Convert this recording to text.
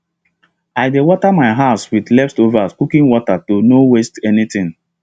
i dey water my herbs with leftover cooking water to no waste anything